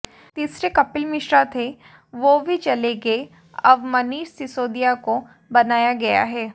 तीसरे कपिल मिश्रा थे वो भी चले गए अब मनीष सिसोदिया को बनाया गया है